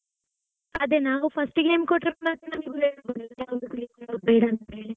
ಅದೇ ನಾವು first ಗೆ name ಕೊಟ್ರೆ ಯಾವ್ದು ಬೇಕು ಯಾವ್ದು ಬೇಡಂತ ಹೇಳಿ.